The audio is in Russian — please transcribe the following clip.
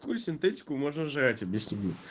какую синтетику можно жрать объясни мне